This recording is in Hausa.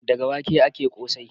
Daga wake ake ƙosai.